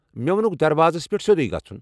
مےٚوۄنٗكھ دروازس پٮ۪ٹھ سیودٗیہ گژھنٗن ۔